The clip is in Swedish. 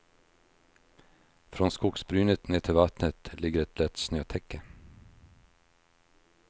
Från skogsbrynet ner till vattnet ligger ett lätt snötäcke.